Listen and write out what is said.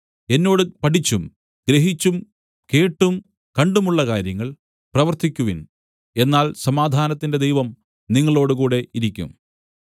എന്നോട് പഠിച്ചും ഗ്രഹിച്ചും കേട്ടും കണ്ടുമുള്ള കാര്യങ്ങൾ പ്രവർത്തിക്കുവിൻ എന്നാൽ സമാധാനത്തിന്റെ ദൈവം നിങ്ങളോടുകൂടെ ഇരിക്കും